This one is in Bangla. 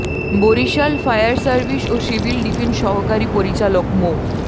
বরিশাল ফায়ার সার্ভিস ও সিভিল ডিফেন্স সহকারী পরিচালক মো